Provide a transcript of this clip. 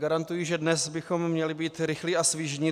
Garantuji, že dnes bychom měli být rychlí a svižní.